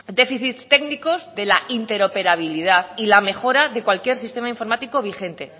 déficits técnicos de la interoperabilidad y la mejora de cualquier sistema informático vigente